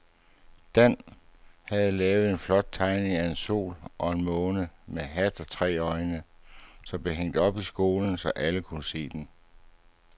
Dan havde lavet en flot tegning af en sol og en måne med hat og tre øjne, som blev hængt op i skolen, så alle kunne se den.